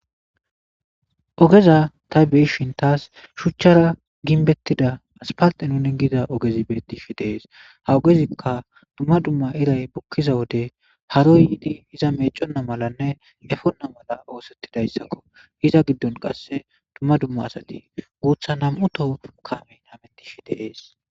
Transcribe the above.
ogeza ta beeshin taas shuchchara ginbettida aspalxe nuni giza ogezi betti shi deees ha ogezikka dumma dumma iray bukkiza wode haro yiidi iza meeconna malanne efonna mala oosettidayssakko hiza giddon qasse dumma dumma asati guutha nam7uto kameyn hamettishi deees